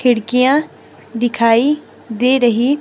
खिड़कियां दिखाई दे रही--